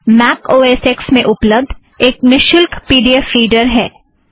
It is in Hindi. scheme Mac O S X में उप्लब्द एक निशुल्क पी ड़ी ऐफ़ रीड़र है